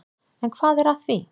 En hvað er að því?